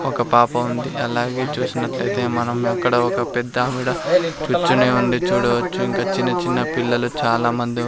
ఒక పాప ఉంది అలాగే చూసినట్లు అయితే మనం అక్కడ ఒక పెద్ద ఆవిడ కూర్చొని ఉంది చూడు వచ్చు ఇంకా చిన్న-చిన్న పిల్లలు చాలా మంది --